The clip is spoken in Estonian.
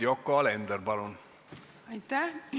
Yoko Alender, palun!